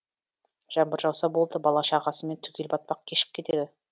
жаңбыр жауса болды бала шағысымен түгел батпақ кешіп кетеді